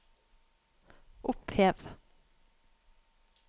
opphev